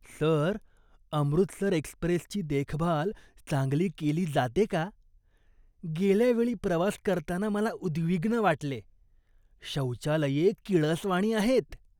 Sir, Amritsar एक्स्प्रेसची देखभाल चांगली केली जाते का? गेल्या वेळी प्रवास करताना मला उद्विग्न वाटले. शौचालये किळसवाणी आहेत.